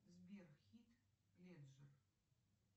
сбер хит леджер